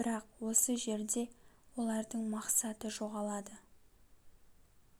бірақ осы жерде олардың мақсаты жоғалады